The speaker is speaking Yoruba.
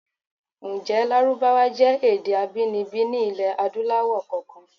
Ǹjé Lárúbáwá jẹ́ èdè abíninibí ní ilẹ̀ Adúláwọ̀ kankan?